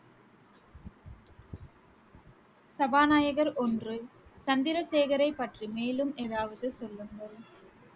சபாநாயகர் ஒன்று, சந்திரசேகரை பற்றி மேலும் ஏதாவது சொல்லுங்கள்